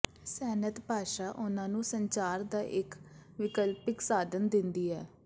ਸੈਨਤ ਭਾਸ਼ਾ ਉਨ੍ਹਾਂ ਨੂੰ ਸੰਚਾਰ ਦਾ ਇੱਕ ਵਿਕਲਪਿਕ ਸਾਧਨ ਦਿੰਦੀ ਹੈ